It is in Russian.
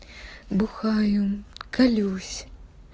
бухаю колюсь